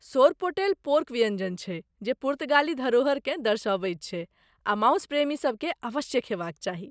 Sorpotel pork व्यञ्जन छियै जे पुर्तगाली धरोहरकेँ दर्शबैत छै आ मासु प्रेमीसभकेँ अवश्य खेबाक चाही।